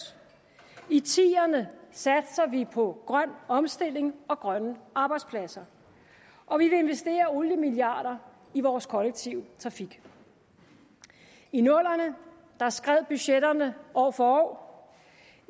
i tierne satser vi på grøn omstilling og grønne arbejdspladser og vi vil investere oliemilliarder i vores kollektive trafik i nullerne skred budgetterne år for år